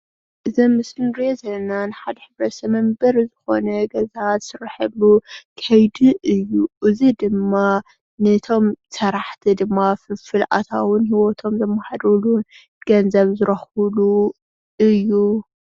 እዚ ኣብ ምስሊ እንሪኦ ዘለና ናይ ሓደ ሕብረተሰብ መንበሪ ዝኮነ ገዛ ዝስረሐሉ ከይዲ እዩ። እዚ ድማ ነቶም ስራሕቲ ድማ ፍልፍል ኣታዊ ሂወቶም ዘመሓድርሉ ገንዘብ ዝረክብሉ እዩ።